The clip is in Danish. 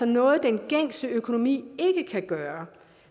noget den gængse økonomi ikke kan gøre